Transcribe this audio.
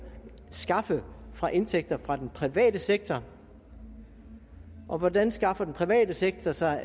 skaffe fra indtægter fra den private sektor hvordan skaffer den private sektor sig